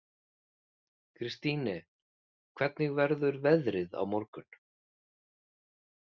Kristine, hvernig verður veðrið á morgun?